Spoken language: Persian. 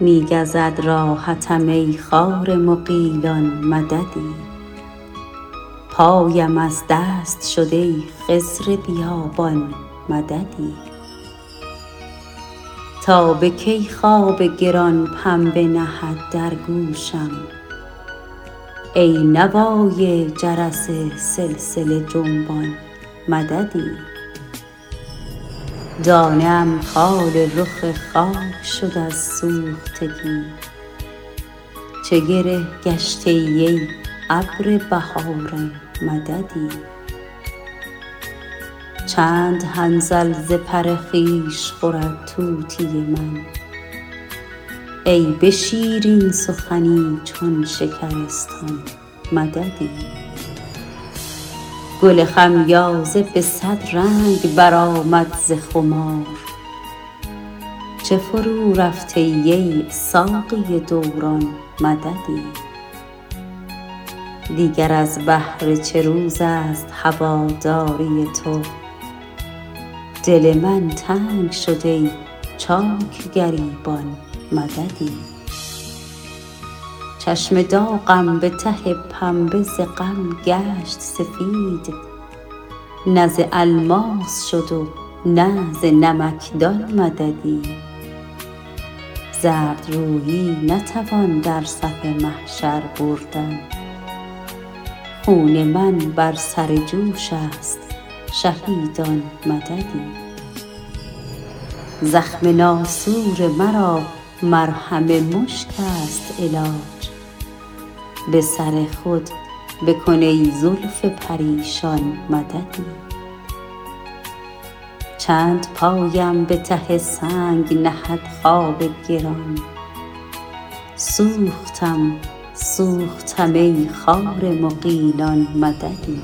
می گزد راحتم ای خار مغیلان مددی پایم از دست شد ای خضر بیابان مددی تا به کی خواب گران پنبه نهد در گوشم ای نوای جرس سلسله جنبان مددی دانه ام خال رخ خاک شد از سوختگی چه گره گشته ای ای ابر بهاران مددی چند حنظل ز پر خویش خورد طوطی من ای به شیرین سخنی چون شکرستان مددی گل خمیازه به صد رنگ برآمد ز خمار چه فرو رفته ای ای ساقی دوران مددی دیگر از بهر چه روزست هواداری تو دل من تنگ شد ای چاک گریبان مددی چشم داغم به ته پنبه ز غم گشت سفید نه ز الماس شد و نه ز نمکدان مددی زردرویی نتوان در صف محشر بردن خون من بر سر جوش است شهیدان مددی زخم ناسور مرا مرهم مشک است علاج به سر خود بکن ای زلف پریشان مددی چند پایم به ته سنگ نهد خواب گران سوختم سوختم ای خار مغیلان مددی